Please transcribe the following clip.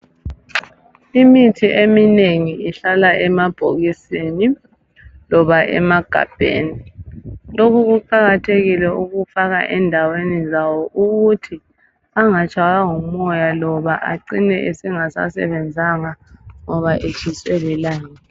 Imithi eminengi ihlala emabhokisini loba emagabheni .Lokhu kuqakathekile ukufaka endaweni zawo ukuthi angatshaywa ngumoya loba acine esengasasebenzanga ngoba etshiswe lilanga.